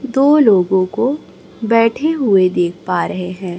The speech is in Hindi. दो लोगों को बैठे हुए देख पा रहे हैं।